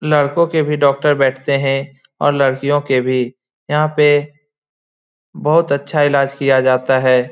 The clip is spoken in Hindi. लड़कों के भी डॉक्टर बैठते हैं और लड़कियो के भी यहां पे बहुत अच्छा इलाज किया जाता है।